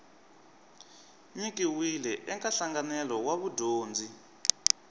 nyikiwile eka nhlanganelo wa vudyondzi